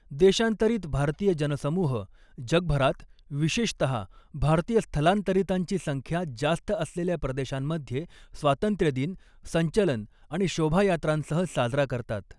देशांतरित भारतीय जनसमूह जगभरात, विशेषत भारतीय स्थलांतरितांची संख्या जास्त असलेल्या प्रदेशांमध्ये, स्वातंत्र्य दिन संचलन आणि शोभायात्रांसह साजरा करतात.